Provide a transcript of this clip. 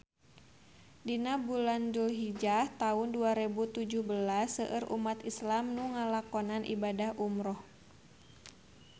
Dina bulan Dulhijah taun dua rebu tujuh belas seueur umat islam nu ngalakonan ibadah umrah